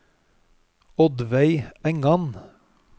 Oddveig Engan